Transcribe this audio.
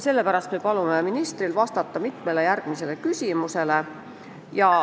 Sellepärast me palume ministril vastata mitmele küsimusele.